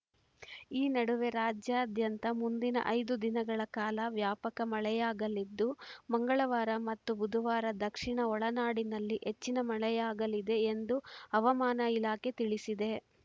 ಈ ನಡುವೆ ರಾಜ್ಯಾದ್ಯಂತ ಮುಂದಿನ ಐದು ದಿನಗಳ ಕಾಲ ವ್ಯಾಪಕ ಮಳೆಯಾಗಲಿದ್ದು ಮಂಗಳವಾರ ಮತ್ತು ಬುಧವಾರ ದಕ್ಷಿಣ ಒಳನಾಡಿನಲ್ಲಿ ಹೆಚ್ಚಿನ ಮಳೆಯಾಗಲಿದೆ ಎಂದು ಹವಾಮಾನ ಇಲಾಖೆ ತಿಳಿಸಿದೆ